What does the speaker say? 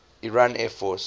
iran air force